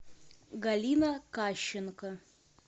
галина кащенко